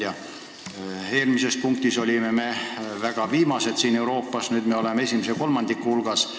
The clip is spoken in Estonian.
Eelmise päevakorrapunkti aruteluobjekti puhul me olime Euroopas täiesti viimased, selle puhul oleme esimese kolmandiku hulgas.